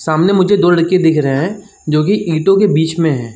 सामने मुझे दो लड़के दिख रहे है जोकि ईंटों के बीच में हैं।